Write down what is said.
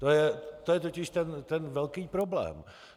To je totiž ten velký problém.